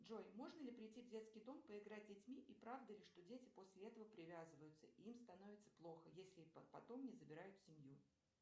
джой можно ли прийти в детский дом поиграть с детьми и правда ли что дети после этого привязываются и им становится плохо если их потом не забирают в семью